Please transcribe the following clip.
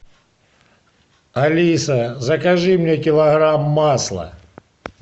алиса закажи мне килограмм масла